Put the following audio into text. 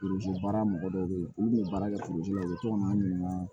baara mɔgɔ dɔw bɛ yen olu kun bɛ baara kɛ u bɛ to ka na